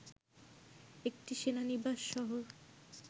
একটি সেনানিবাস শহর